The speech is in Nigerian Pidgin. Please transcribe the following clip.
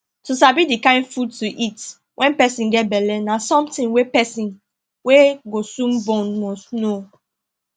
to sabi the kind food to eat when person get belle na something wey person wey go soon born must know